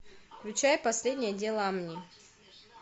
включай последнее дело амни